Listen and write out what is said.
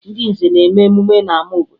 Ndị nze na-eme emume n'ama obodo